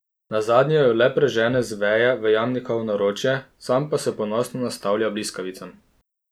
Nazadnje jo le prežene z veje v Jamnikovo naročje, sam pa se ponosno nastavlja bliskavicam.